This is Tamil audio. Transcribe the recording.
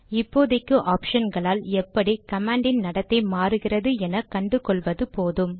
இப்போதைக்கு ஆப்ஷன்களால் எப்படி கமாண்டின் நடத்தை மாறுகிறது என கண்டு கொள்வது போதும்